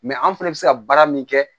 anw fɛnɛ bɛ se ka baara min kɛ